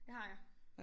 Det har jeg